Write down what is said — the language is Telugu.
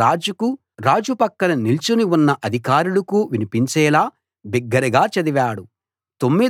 రాజుకు రాజు పక్కన నిల్చుని ఉన్న అధికారులకూ వినిపించేలా బిగ్గరగా చదివాడు